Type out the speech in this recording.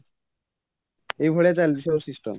ଏଇ ଭଳିଆ ଚାଲିଛି ସବୁ system